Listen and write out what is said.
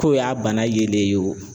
K'o y'a bana yelen ye wo